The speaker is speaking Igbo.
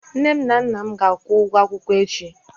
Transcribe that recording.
Nne na nna m ga-akwụ m ụgwọ akwụkwọ echi.